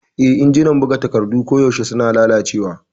Eh, injinan buga takardu koyaushe suna lalacewa.